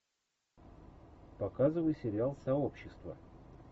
показывай сериал сообщество